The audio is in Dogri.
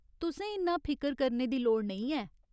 तुसें इन्ना फिकर करने दी लोड़ नेईं ऐ !